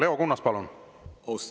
Leo Kunnas, palun!